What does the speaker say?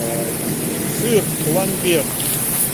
сыр ламбер